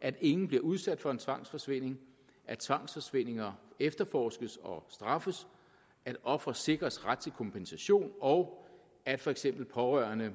at ingen bliver udsat for en tvangsforsvinding at tvangsforsvindinger efterforskes og straffes at ofre sikres ret til kompensation og at for eksempel pårørende